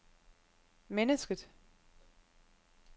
mennesket